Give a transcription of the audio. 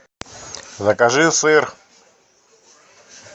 закажи сыр